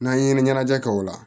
N'an ye ɲɛnajɛ kɛ o la